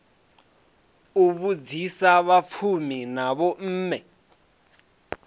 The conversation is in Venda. u vhudzisa vhafunzi na vhomme